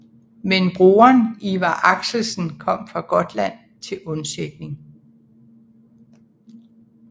Men broderen Iver Axelsen kom fra Gotland til undsætning